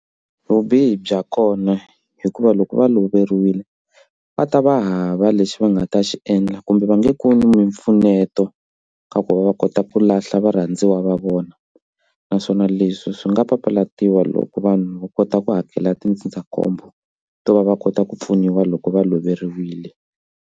Vubihi bya kona hikuva loko va loveriwile va ta va hava lexi va nga ta xi endla kumbe va nge kumi mpfuneto ka ku va va kota ku lahla varhandziwa va vona naswona leswi swi nga papalatiwa loko vanhu va kota ku hakela tindzindzakhombo to va va kota ku pfuniwa loko va loveriwile.